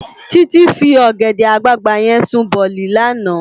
Titi fi ògèdè àgbágbá yèn sún bòlí làná